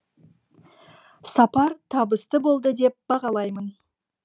сапар табысты болды деп бағалаймын